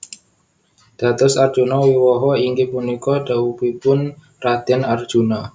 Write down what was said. Dados Arjuna Wiwaha inggih punika dhaupipun Raden Arjuna